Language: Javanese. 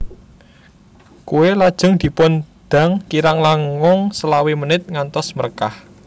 Kue lajeng dipun dang kirang langung selawe menit ngantos mrekah